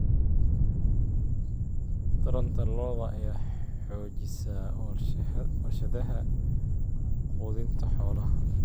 Taranta lo'da lo'da ayaa xoojisay warshadaha quudinta xoolaha.